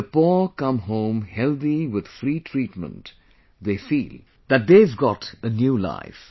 When the poor come home healthy with free treatment, they feel that they have got a new life